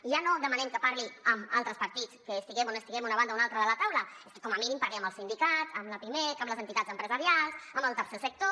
i ja no demanem que parli amb altres partits estiguem on estiguem a una banda una altra de la taula és que com a mínim parli amb els sindicats amb la pimec amb les entitats empresarials amb el tercer sector